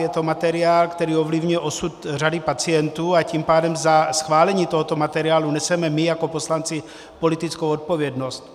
Je to materiál, který ovlivňuje osud řady pacientů, a tím pádem za schválení tohoto materiálu neseme my jako poslanci politickou odpovědnost.